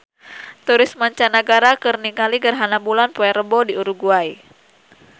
Turis mancanagara keur ningali gerhana bulan poe Rebo di Uruguay